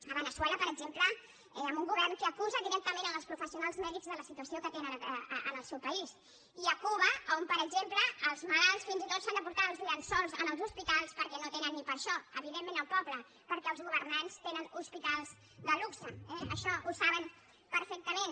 a veneçuela per exemple amb un govern que acusa directament els professionals mèdics de la situació que tenen en el seu país i a cuba on per exemple els malalts fins i tot s’han de portar els llençols als hospitals perquè no tenen ni per a això evidentment el poble perquè els governants tenen hospitals de luxe eh això ho saben perfectament